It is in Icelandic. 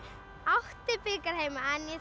átti bikar heima en